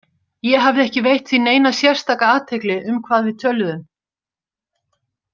Ég hafði ekki veitt því neina sérstaka athygli um hvað við töluðum.